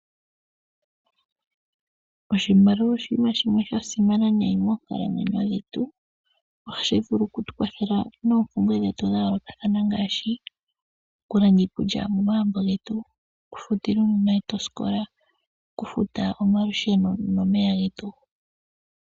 Oshimaliwa oshinima shimwe sha simana nayi moonkalamwenyo dhetu, ohashi vulu ku tu kwathela noompumbwe dhetu dha yoolokathana ngaashi; okulanda iikulya momaambo getu, oku futila uunona wetu osikola, oku futa omalusheno nomeya getu.